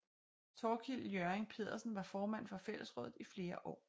Thorkild Ljørring Pedersen var formand for fællesrådet i flere år